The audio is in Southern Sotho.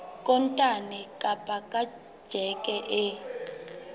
kontane kapa ka tjheke e